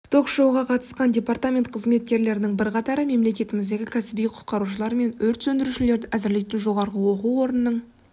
ток-шоуға қатысқан департамент қызметкерлерінің бірқатары мемлекетіміздегі кәсіби құтқарушылар мен өрт сөндірушілерді әзірлейтін жоғарғы оқу орнының